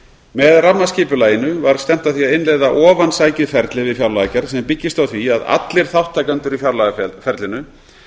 með rammaskipulaginu var stefnt að því að innleiða ofansækið ferli við fjárlagagerð sem byggist á því að allir þátttakendur í fjárlagaferlinu